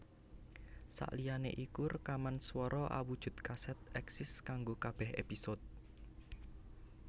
Saliyané iku rekaman swara awujud kasèt èksis kanggo kabèh épisode